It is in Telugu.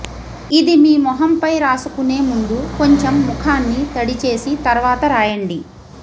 ఇది మీ మొహంపై రాసుకునే ముందు కొంచెం ముఖాన్ని తడిచేసి తర్వాత రాయండి